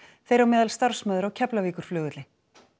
þeirra á meðal starfsmaður á Keflavíkurflugvelli